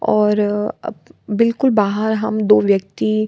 और बिल्कुल बाहर हम दो व्यक्ति --